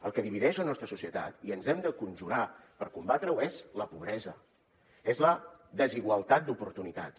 el que divideix la nostra societat i ens hem de conjurar per combatre ho és la pobresa és la desigualtat d’oportunitats